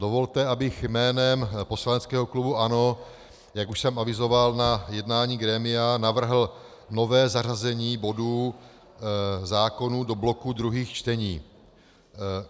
Dovolte, abych jménem poslaneckého klubu ANO, jak už jsem avizoval na jednání grémia, navrhl nové zařazení bodů, zákonů, do bloku druhých čtení.